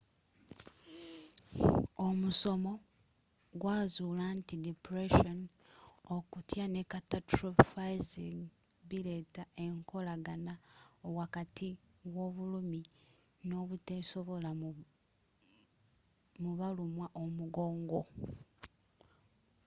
omusomo gwazuula nti depression okutya ne catastrophizing bileeta enkolagana wakati w'obulumi n'obuteesobola mu balumwa omugongo